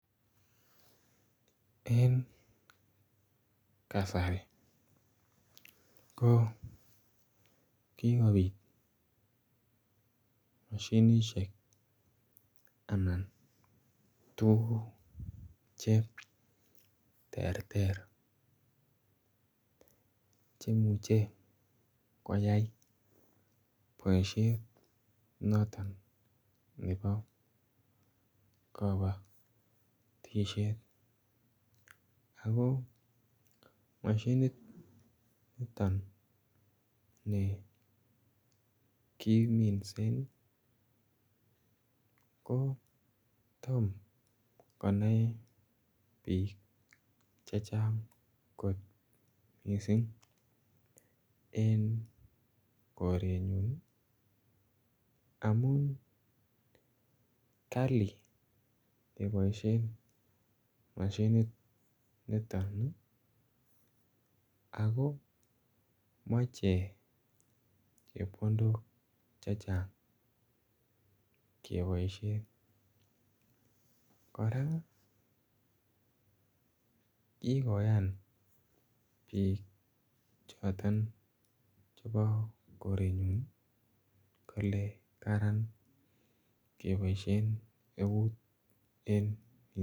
Eng kasari ko kikobiit mashinisheek anan tuguuk che terter chemuchei koyai boisiet notoon nebo kabatisyeet ako mashiniit nitoon ni kiminsen ko tom konai biik che chaang koot missing en korenyuun ii amuun Kali kebaisheen mashiniit nitoon ii ako machei chepkondook che chaang kebaisheen kora kikoyaam biik chotoon chebo koreet nyuun ii kole karaan kebaisheen eut en.